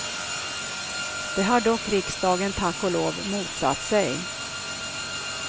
Det har dock riksdagen, tack och lov, motsatt sig.